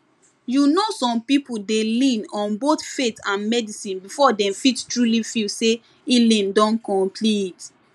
you know some people dey lean on both faith and medicine before dem fit truly feel say healing don complete